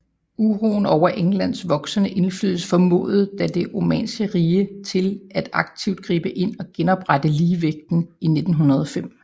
Uroen over Englands voksende indflydelse formåede da Det Osmanniske Rige til at aktivt gribe ind og genoprette ligevægten i 1905